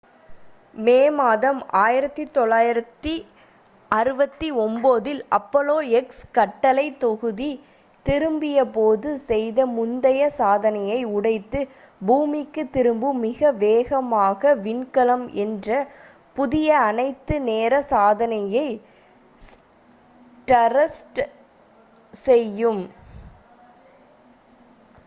மே மாதம் 1969 இல் apollo x கட்டளை தொகுதி திரும்பிய போது செய்த முந்தைய சாதனையை உடைத்து பூமிக்கு திரும்பும் மிக வேகமாக விண்கலம் என்ற புதிய அனைத்து நேர சாதனையை stardust செய்யும்